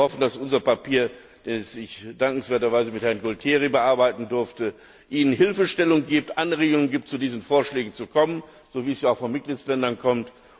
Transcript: Wir hoffen, dass unser Papier, das ich dankenswerterweise mit Herrn Gualtieri bearbeiten durfte, Ihnen Hilfestellung und Anregungen gibt, zu diesen Vorschlägen zu kommen, so wie das ja auch von den Mitgliedstaaten kommt.